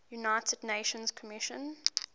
united nations commission